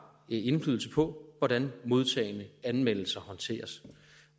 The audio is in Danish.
indflydelse på hvordan modtagne anmeldelser håndteres